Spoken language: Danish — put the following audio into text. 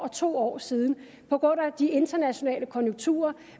to år siden på grund af de internationale konjunkturer